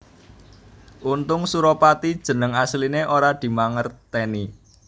Untung Suropati jeneng asliné ora dimangertèni